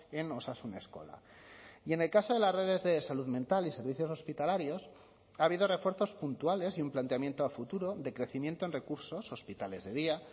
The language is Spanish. en osasun eskola y en el caso de las redes de salud mental y servicios hospitalarios ha habido refuerzos puntuales y un planteamiento a futuro de crecimiento en recursos hospitales de día